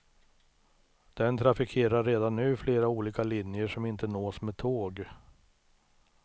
Den trafikerar redan nu flera olika linjer som inte nås med tåg.